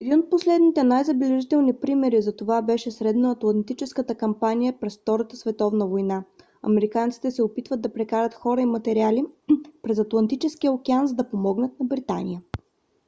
един от последните най-забележителни примери за това беше северноатлантическата кампанията през втората световна война. американците се опитват да прекарат хора и материали през атлантическия океан за да помогнат на британия